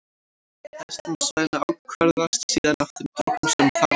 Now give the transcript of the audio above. Hleðslan á svæðinu ákvarðast síðan af þeim dropum sem þar eru.